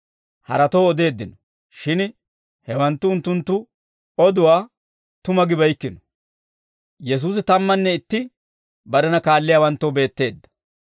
Unttunttu guyye simmiide, haratoo odeeddino; shin hewanttu unttunttu oduwaa tuma gibeykkino.